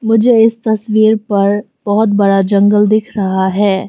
मुझे इस तस्वीर पर बहुत बड़ा जंगल दिख रहा है।